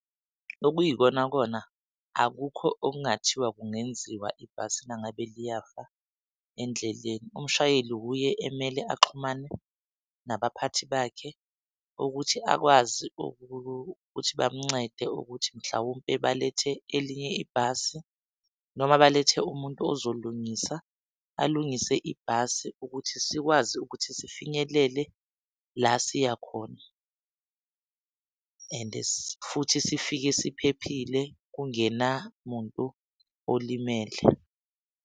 Okuyikonakona akukho okungathiwa kungenziwa ibhasi nangabe liyafa endleleni. Umshayeli wuye emele axhumane nabaphathi bakhe ukuthi akwazi ukuthi bamuncede ukuthi mhlawumpe balethe elinye ibhasi, noma balethe umuntu ozolungisa alungise ibhasi ukuthi sikwazi ukuthi sifinyelele la siya khona and futhi sifike siphephile. Kungena muntu olimele.